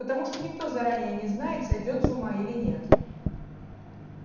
потому что никто заранее не знает сойдёт с ума или нет